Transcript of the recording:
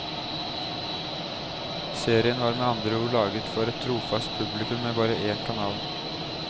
Serien var med andre ord laget for et trofast publikum med bare én kanal.